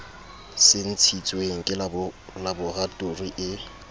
se ntshitsweng ke laboratori e